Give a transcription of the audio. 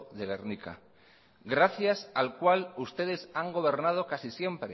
de gernika gracias al cual ustedes han gobernado casi siempre